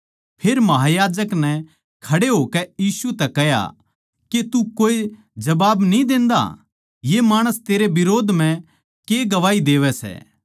फेर महायाजक नै खड़े होकै यीशु तै कह्या के तू कोए जबाब न्ही देंदा ये माणस तेरै बिरोध म्ह के गवाही देवै सै